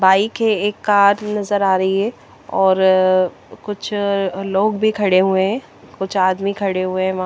bike हे एक car नजर आरी हे ओर अ कुछ लोग भी खड़े हुए हे कुछ आदमी खड़े हुए हे वहा--